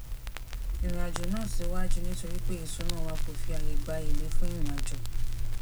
ìrìn àjò náà síwájú nítorí pé isuna wa ko fi aye gba ele fun irinajo